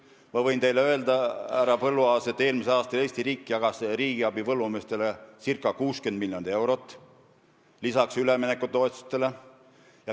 Ma võin teile öelda, härra Põlluaas, et eelmisel aastal jagas Eesti riik põllumeestele lisaks üleminekutoetustele ca 60 miljonit eurot riigiabi.